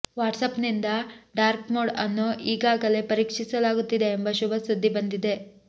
WhatsApp ನಿಂದ dark mode ಅನ್ನು ಈಗಾಗಲೇ ಪರೀಕ್ಷಿಸಲಾಗುತ್ತಿದೆ ಎಂಬ ಶುಭ ಸುದ್ದಿ ಬಂದಿದೆ